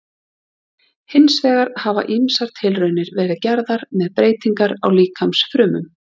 Hins vegar hafa ýmsar tilraunir verið gerðar með breytingar á líkamsfrumum.